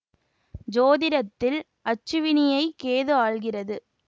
சோதிடத்தில் அச்சுவினியை கேது ஆள்கிறது